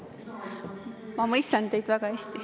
Ma mõistan teid väga hästi.